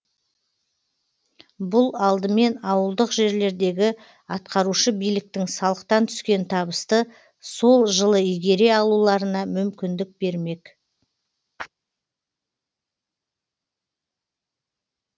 бұл алдымен ауылдық жерлердегі атқарушы биліктің салықтан түскен табысты сол жылы игере алуларына мүмкіндік бермек